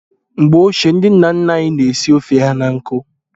Mgbe ochie, ndị nna nna anyị na-esi ofe ha na nkụ.